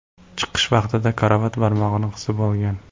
Chiqish vaqtida karavot barmog‘ini qisib qolgan.